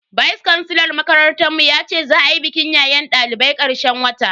Vice kansilar makarantar mu yace za a yi bikin yayen dalibai karshen wata